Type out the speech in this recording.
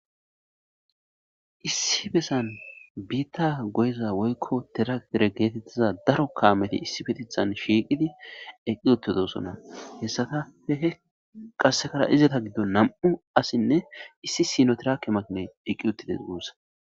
Issi besan biitta goyiza woykko tirak dere geetettiza daro kaameti issi petithan shiiqidi eqqi ottodosona hessatahehe qassekara izeta giddo nam7u assinne issi sino tirake makine eqqi uttides guussa.